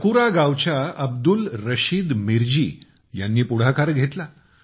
चाकुरा गावच्या अब्दुल रशीद मीरजी ह्यांनी पुढाकार घेतला